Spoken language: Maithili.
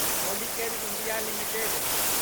Polycab India limited